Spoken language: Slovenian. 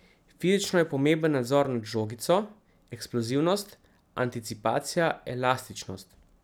Fizično je pomemben nadzor nad žogico, eksplozivnost, anticipacija, elastičnost.